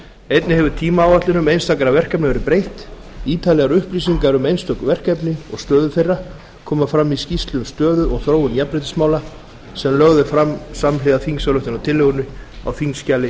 einnig hefur tímaáætlun einstakra verkefna verið breytt ítarlegar upplýsingar um einstök verkefni og stöðu þeirra koma fram í skýrslu um stöðu og þróun jafnréttismála sem lögð er fram samhliða þingsályktunartillögunni á þingskjali